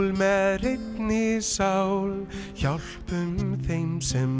með hreinni sál hjálpum þeim sem